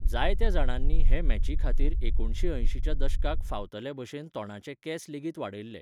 जायत्या जाणांनी हे मॅची खातीर एकुणशे अंयशींच्या दशकाक फावतले भशेन तोंडाचे केंस लेगीत वाडयल्ले.